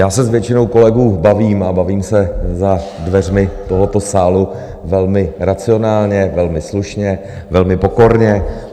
Já se s většinou kolegů bavím, a bavím se za dveřmi tohoto sálu velmi racionálně, velmi slušně, velmi pokorně.